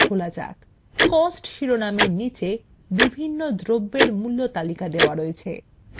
cost শিরোনামের নীচে বিভিন্ন দ্রব্যের মূল্য তালিকা রয়েছে